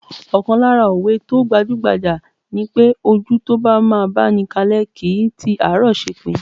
Ọ̀kan lára òwe tó gbajúgbajà ni pé, ojú tó bá máa báni kalẹ́ kìí ti àárọ̀ ṣepin.